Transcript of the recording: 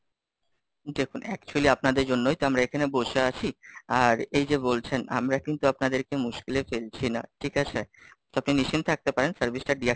দেখুন actually আপনাদের জন্যই তো আমরা এখানে বসে আছি, আর এই যে বলছেন, আমরা কিন্তু আপনাদেরকে মুশকিলে ফেলছি না ঠিক আছে। তো আপনি নিশ্চিত থাকতে পারেন service টা deactivate,